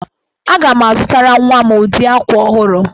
Aga m azụtara nwa m ụdị akwa ọhụrụ